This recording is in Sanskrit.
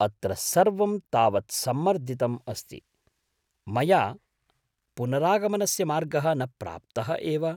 अत्र सर्वम् तावत्सम्मर्दितम् अस्ति, मया पुनरागमनस्य मार्गः न प्राप्तः एव।